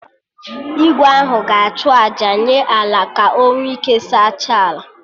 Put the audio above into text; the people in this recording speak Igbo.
Igwe ahụ ga-achụ àjà nye Ala ka o nwe ike saachaa ala